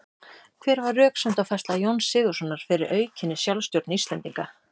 Hver var röksemdafærsla Jóns Sigurðssonar fyrir aukinni sjálfstjórn Íslendinga?